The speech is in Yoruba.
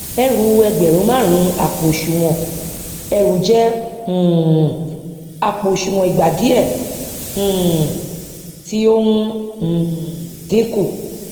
ẹrú ẹgbẹrun máàrún àpò òsùnwọn ẹrù jẹ um àpò òsùnwọn ìgba diẹ um tí ó ń um dínkù